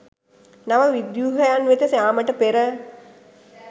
නව ව්‍යුහයන් වෙත යාමට පෙර